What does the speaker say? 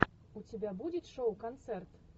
у тебя будет шоу концерт